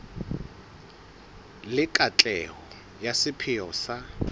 le katleho ya sepheo sa